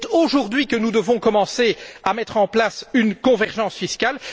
C'est aujourd'hui que nous devons commencer à mettre en place une convergence fiscale.